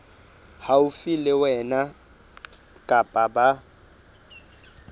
haufi le wena kapa ba